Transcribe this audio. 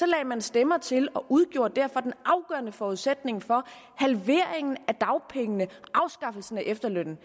lagde man stemmer til og udgjorde derfor den afgørende forudsætning for halveringen af dagpengene afskaffelsen af efterlønnen